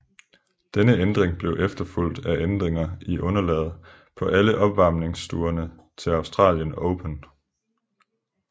Denne ændring blev efterfulgt af ændringer i underlaget på alle opvarmningsturneringerne til Australian Open